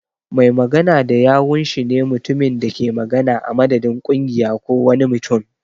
Mai magana da yawun shi ne mutumin da ke magana a madadin kungiya ko wani mutum.